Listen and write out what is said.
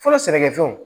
Fɔlɔ sɛnɛkɛfɛnw